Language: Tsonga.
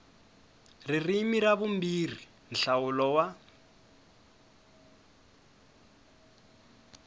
ririmi ra vumbirhi nhlawulo wa